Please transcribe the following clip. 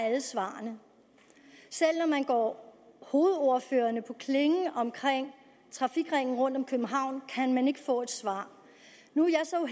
alle svarene selv når man går hovedordførerne på klingen om trafikringen rundt om københavn kan man ikke få et svar nu er jeg så